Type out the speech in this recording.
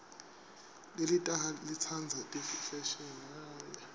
lelitaha litsandza ifeshini